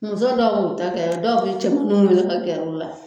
Muso dɔw b'u ta kɛ dɔw bi cɛmanu weele ka gɛr'u la